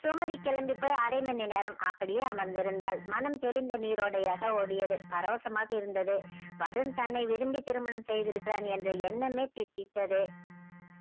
சுமதி கெளம்பி போய் அரை மணி நேரம் அப்படியே அமர்ந்து இருந்தால் மனம் தெளிந்த நீர்ரோடையாக ஓடியது பரவசமாக இருந்தது வருண் தன்னை விரும்பி திருமணம் செய்து இருக்கிறான் என்ற எண்ணமே தித்தித்தத